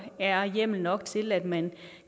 er hjemmel nok til at man